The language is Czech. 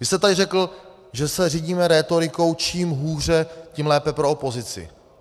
Vy jste tady řekl, že se řídíme rétorikou čím hůře, tím lépe pro opozici.